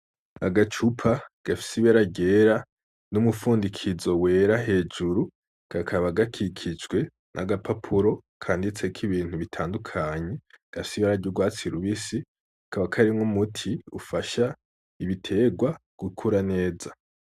Agacupa gafise ibara ryera n'umufundikizo wera hejuru kakaba gakikijwe n'agapapuro kanditseko ibintu bitandukanye, gafise ibara ry'urwatsi rubisi kakaba karimwo umuti ufasha ibitegwa gukura neza.